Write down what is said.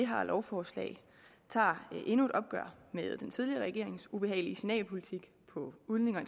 her lovforslag tager endnu et opgør med den tidligere regerings ubehagelige signalpolitik på udlændinge og